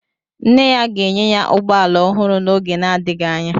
Nne ya ga-enye ya ụgbọ ala ọhụrụ n'oge adịghị anya.